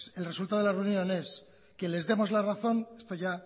el resultado de la reunión es que les demos la razón esto ya